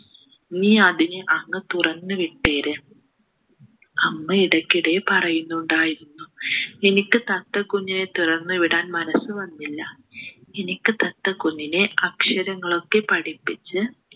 നീ അതിനെ അങ് തുറന്നു വിട്ടേര് അമ്മ ഇടയ്ക്കിടെ പറയുന്നുണ്ടായിരുന്നു എനിക്ക് തത്തക്കുഞ്ഞിനെ തുറന്നു വിടാൻ മനസ്സ് വന്നില്ല എനിക്ക് തത്തക്കുഞ്ഞിനെ അക്ഷരങ്ങളൊക്കെ പഠിപ്പിച്ച്